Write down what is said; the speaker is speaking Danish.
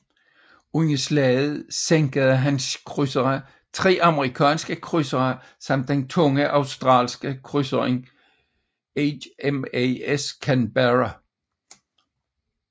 Under slaget sænkede hans krydsere tre amerikanske krydsere samt den tunge australske krydser HMAS Canberra